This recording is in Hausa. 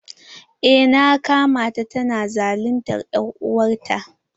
Eh na kama ta tana zaluntar er'uwar ta.